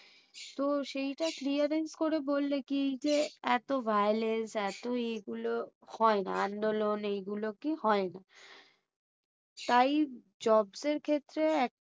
তো সেটা clearance করে বললে কি যে এতো violence এতো ইয়েগুলো হয়না, আন্দোলন হয়না। তাই jobs এর ক্ষেত্রে